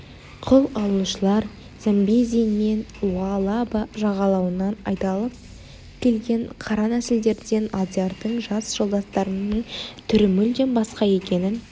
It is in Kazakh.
құл алушылар замбези мен луалаба жағалауынан айдалып келген қара нәсілділерден алдиярдың жас жолдастарының түрі мүлдем басқа екенін